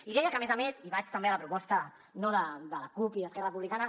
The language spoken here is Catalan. i deia que a més a més i vaig també a la proposta de la cup i d’esquerra republicana